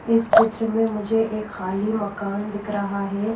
इस चित्र में मुझे एक खाली मकान दिख रहा है।